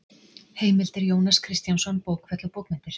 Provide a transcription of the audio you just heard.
Heimildir Jónas Kristjánsson, Bókfell og bókmenntir